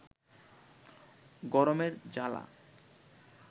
গরমের জ্বালা